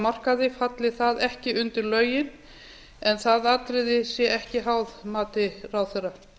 markaði falli það ekki undir lögin en það atriði sé ekki háð mati ráðherra